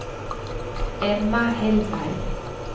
Emma Hellberg